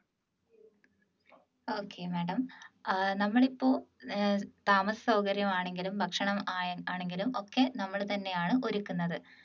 okay madam ആഹ് നമ്മൾ ഇപ്പോൾ ഏർ താമസസൗകര്യം ആണെങ്കിലും ഭക്ഷണം ആയാ ആണെങ്കിലും ഒക്കെ നമ്മൾ തന്നെയാണ് ഒരുക്കുന്നത്